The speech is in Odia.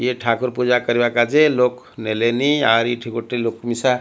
ଇଏ ଠାକୁର ପୂଜା କରିବା କାଜେ ଲୋକ ନେଲେନି। ଆର ଟି ଏଠି ଲୋକ ମିଶା।